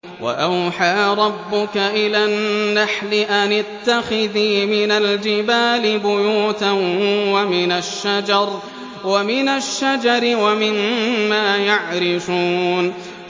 وَأَوْحَىٰ رَبُّكَ إِلَى النَّحْلِ أَنِ اتَّخِذِي مِنَ الْجِبَالِ بُيُوتًا وَمِنَ الشَّجَرِ وَمِمَّا يَعْرِشُونَ